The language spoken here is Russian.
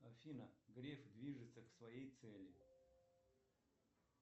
афина греф движется к своей цели